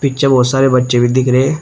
बहोत सारे बच्चे भी दिख रहे हैं।